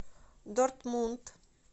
дортмунд